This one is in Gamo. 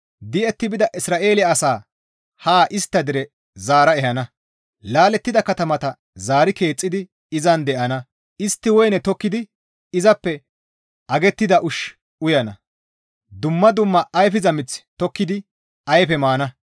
Di7etti bida Isra7eele asaa haa istta dere zaara ehana; laalettida katamata zaari keexxidi izan de7ana; istti woyne tokkidi izappe agettida ushshu uyana; dumma dumma ayfiza mith tokkidi iza ayfe maana.